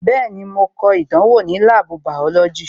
Bẹẹni, mo ko ìdánwò ní láàbù bàọ́lọ́jì "